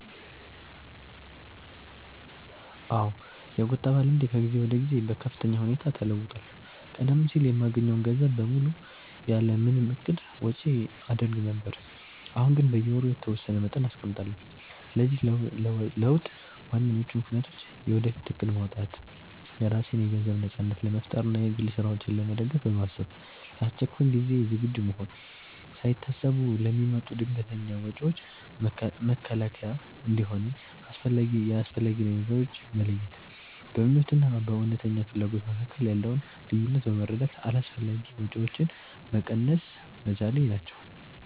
አዎ፣ የቁጠባ ልምዴ ከጊዜ ወደ ጊዜ በከፍተኛ ሁኔታ ተለውጧል። ቀደም ሲል የማገኘውን ገንዘብ በሙሉ ያለ ምንም እቅድ ወጪ አደርግ ነበር፤ አሁን ግን በየወሩ የተወሰነ መጠን አስቀምጣለሁ። ለዚህ ለውጥ ዋነኞቹ ምክንያቶች፦ የወደፊት እቅድ ማውጣት፦ የራሴን የገንዘብ ነጻነት ለመፍጠር እና የግል ስራዎቼን ለመደገፍ በማሰብ፣ ለአስቸኳይ ጊዜ ዝግጁ መሆን፦ ሳይታሰቡ ለሚመጡ ድንገተኛ ወጪዎች መከላከያ እንዲሆነኝ፣ የአስፈላጊ ነገሮች መለየት፦ በምኞት እና በእውነተኛ ፍላጎት መካከል ያለውን ልዩነት በመረዳት አላስፈላጊ ወጪዎችን መቀነስ መቻሌ ናቸው።